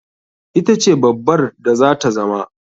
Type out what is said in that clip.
Ita ce babbar da zata zama.